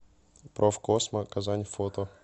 профкосмо казань фото